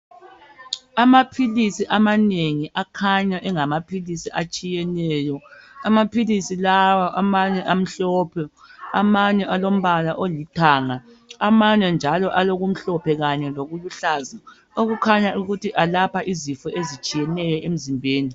Amaphilisi amanengi akhanya engamaphilisi atshiyeneyo amaphilisi lawa amhlophe amanye alombala olithanga amanye njalo alokumhlophe kanye lokuluhlaza okukhanya ukuthi alapha izifo ezitshiyeneyo emzimbeni.